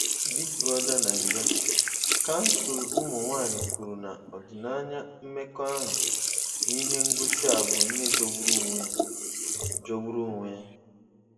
Big Brother Naija: Kansụl Ụmụ Nwanyị kwuru na ọdịnaya mmekọahụ n’ihe ngosi a bụ ihe jọgburu onwe ya. jọgburu onwe ya.